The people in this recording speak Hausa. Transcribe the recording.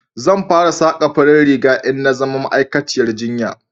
zan fara saka farin riga in na zama ma'aikaciyar jinya